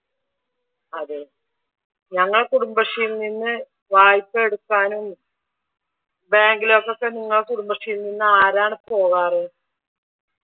അതെ ഞങ്ങൾ കുടുംബശ്രീയിൽ നിന്ന് വായ്‌പ്പാ എടുക്കാനും ബാങ്കിലേക്കൊക്കെ നിങ്ങളുടെ കുടുംബശ്രീയിൽ നിന്ന് ആരാണ് പോവാർ?